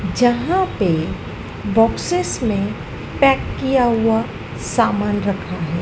यहां पे बॉक्सेस में पैक किया हुआ सामान रखा है।